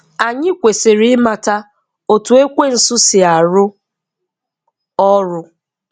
Anyị kwesịrị ị mata otu Ekwensu si arụ ọrụ.